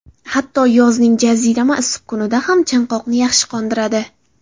Hatto yozning jazirama issiq kunida ham, chanqoqni yaxshi qondiradi.